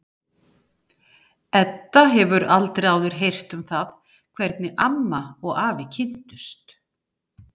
Edda hefur aldrei áður heyrt um það hvernig amma og afi kynntust.